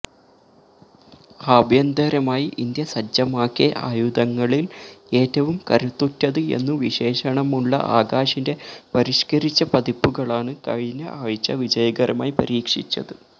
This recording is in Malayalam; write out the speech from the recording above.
ആഭ്യന്തരമായി ഇന്ത്യ സജ്ജമാക്കിയ ആയുധങ്ങളില് ഏറ്റവും കരുത്തുറ്റത് എന്നു വിശേഷണമുള്ള ആകാശിന്റെ പരിഷ്കരിച്ച പതിപ്പുകളാണ് കഴിഞ്ഞ ആഴ്ച വിജയകരമായി പരീക്ഷിച്ചത്